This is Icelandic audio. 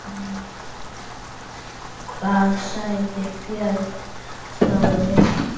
Hvað sagði Björn Þorri?